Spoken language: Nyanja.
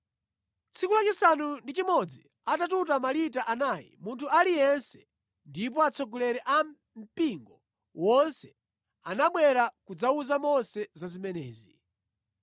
Tsiku lachisanu ndi chimodzi anatuta malita anayi munthu aliyense, ndipo atsogoleri a mpingo wonse anabwera kudzawuza Mose za zimenezi.